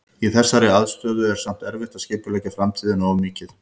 Í þessari aðstöðu er samt erfitt að skipuleggja framtíðina of mikið.